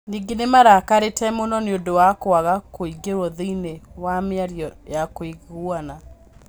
Ningĩ nĩ marakarĩte mũno nĩ ũndũ wa kwaga kũingĩrio thĩĩnii wa mĩario ya kuiguana.